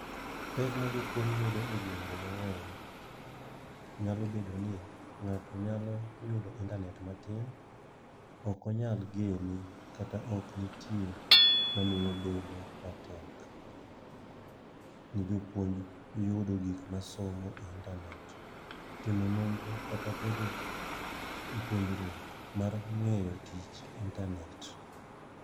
Pek ma jopuony yudo e gwenge mang'eny, nyalo bedo ni ng'ato nyalo yudo intanet natin. Ok onyal gene kata ok nitie mamiyo obedo matek, ne jopuonj yudo gik ma somo e intanet. Timo nondro kata bedo e puonjruok mar ng'eyo tich e intanet.